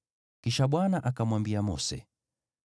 Kisha Bwana akamwambia Mose: